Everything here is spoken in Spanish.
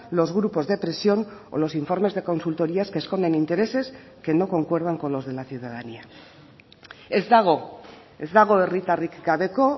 los grupos de presión o los informes de consultorías que esconden intereses que no concuerdan con los de la ciudadanía ez dago ez dago herritarrik gabeko